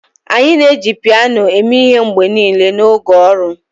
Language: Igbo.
anyị na-eji piano eme ihe mgbe niile n'oge ọrụ.